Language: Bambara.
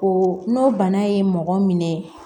O n'o bana ye mɔgɔ minɛ